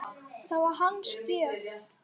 Það var hans gjöf.